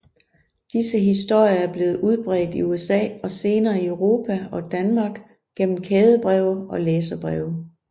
Disse historier er blevet udbredt i USA og senere i Europa og Danmark gennem kædebreve og læserbreve